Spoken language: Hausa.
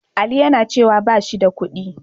Ali yana cewa ba shi da kuɗi.